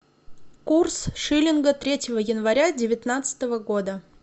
курс шиллинга третьего января девятнадцатого года